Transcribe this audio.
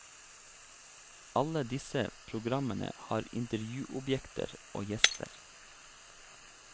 Alle disse programmene har intervjuobjekter og gjester.